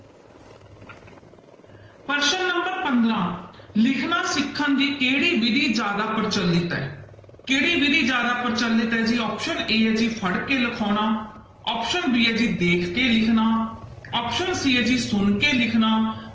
ਪ੍ਰਸ਼ਨ number ਪੰਦਰਾਂ ਲਿਖਣਾ ਸਿੱਖਣ ਦੀ ਕਿਹੜੀ ਵਿੱਧੀ ਜ਼ਿਆਦਾ ਪ੍ਰਚਲਿਤ ਹੈ, ਕਿਹੜੀ ਵਿੱਧੀ ਜ਼ਿਆਦਾ ਪ੍ਰਚਲਿਤ ਹੈ ਜੀ option a ਹੈ ਜੀ ਫੜਕੇ ਲਿਖਾਉਣਾ option b ਹੈ ਜੀ ਦੇਖ ਕੇ ਲਿਖਣਾ option c ਹੈ ਜੀ ਸੁਣ ਕੇ ਲਿਖਣਾ